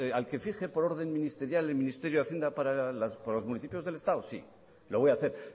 a que exige por orden ministerial el ministerio de hacienda para los municipios del estado sí lo voy a hacer